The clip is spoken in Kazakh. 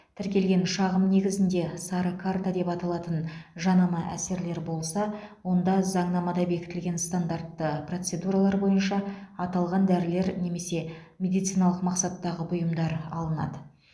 тіркелген шағым негізінде сары карта деп аталатын жанама әсерлер болса онда заңнамада бекітілген стандартты процедуралар бойынша аталған дәрілер немесе медициналық мақсаттағы бұйымдар алынады